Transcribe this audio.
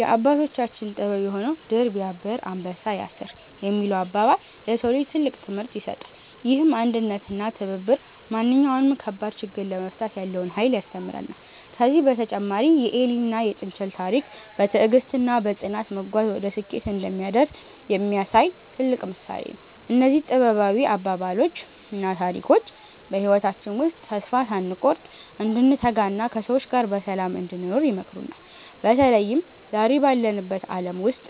የአባቶቻችን ጥበብ የሆነው "ድር ቢያብር አንበሳ ያስር" የሚለው አባባል፣ ለሰው ልጅ ትልቅ ትምህርት ይሰጣል። ይህም አንድነትና ትብብር ማንኛውንም ከባድ ችግር ለመፍታት ያለውን ኃይል ያስተምረናል። ከዚህም በተጨማሪ የኤሊና የጥንቸል ታሪክ፣ በትዕግስትና በጽናት መጓዝ ወደ ስኬት እንደሚያደርስ የሚያሳይ ትልቅ ምሳሌ ነው። እነዚህ ጥበባዊ አባባሎችና ታሪኮች በህይወታችን ውስጥ ተስፋ ሳንቆርጥ እንድንተጋና ከሰዎች ጋር በሰላም እንድንኖር ይመክሩናል። በተለይም ዛሬ ባለንበት ዓለም ውስጥ